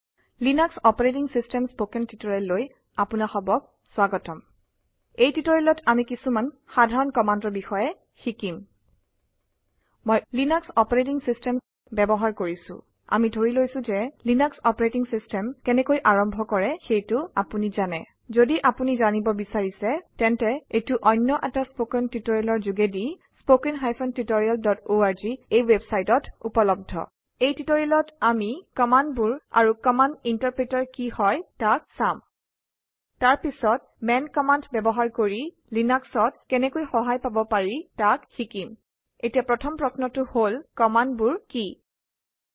লিনাস্ক operating system spoken টিউটৰিয়েললৈ আপোনাসবক স্বাগতম। এই টিউটৰিয়েলত আমি কিছুমান সাধাৰণ কামাণ্ডৰ বিষয়ে শিকিম। মই লিনাস্ক অপাৰেটিং চিষ্টেম ব্যৱহাৰ কৰিছো। আদি ধৰি লৈছো ঘে লিনাস্ক অপাৰেটিং চিষ্টেম কেনেকৈ আৰম্ভ কৰে তাক আপুনি জানে। ঘদি আপোনি জানিব বিচাৰিছে তেন্তে এইটো অন্য এটা ষ্পকেন টিউটৰিয়েলৰ ঘোগেদি httpspoken tutorialorg এই ৱেবছাইটত উপলব্ধ। এই টিউটৰিয়েলত আমি কামাণ্ডবোৰ আৰু কামাণ্ড ইন্টাৰপ্ৰিতাৰ কি হয় তাক চাম তাৰ পিছত মান কামাণ্ড ব্যৱহাৰ কৰি লিনাক্সত কেনেকৈ সহায় পাব পাৰি তাক শিকিম। এতিয়া প্ৰথম প্ৰশ্নটো হল কামাণ্ডবোৰ কিৱ্হাট আৰে কমাণ্ডছ